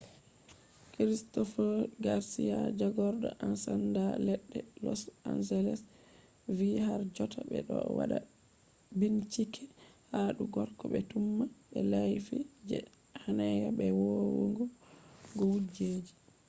christopher garcia jagordo ensanda ledde los angles vi har jotta be do wada binchike ha dou gorko be tumah be laifi je hanea be vonnu go kujeji